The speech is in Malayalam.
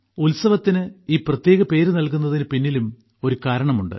ഉത്സവത്തിന് ഈ പ്രത്യേക പേര് നൽകുന്നതിനു പിന്നിലും ഒരു കാരണമുണ്ട്